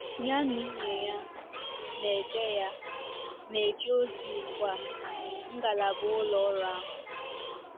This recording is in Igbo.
Ya na nwunye ya na-eje ya na-eje ozi ugbu a ngalaba ụlọ ọrụ ahụ.